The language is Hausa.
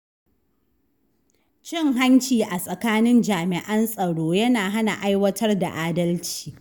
Cin hanci a tsakanin jami’an tsaro yana hana aiwatar da adalci.